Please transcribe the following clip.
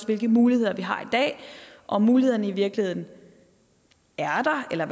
hvilke muligheder vi har i dag om mulighederne i virkeligheden er der eller